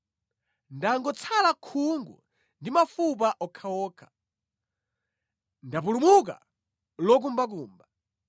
Ndangotsala khungu ndi mafupa okhaokha; ndapulumuka lokumbakumba.